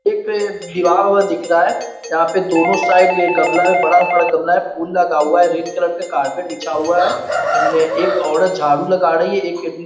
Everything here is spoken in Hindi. एक दिवार वहाँ दिख रहा है जहाँ पे दोनों साइड ये गमला है बड़ा-बड़ा गमला है फूल लगा हुआ है रेड कलर का करपेट बिछा हुआ है। ने एक औरत झाड़ू लगा रही है एक न --